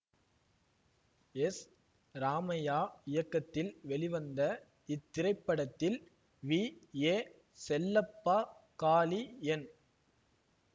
S Ramaiah இயக்கத்தில் வெளிவந்த இத்திரைப்படத்தில் V A Chellappa Kali N